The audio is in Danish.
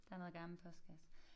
Der noget gammel postkasse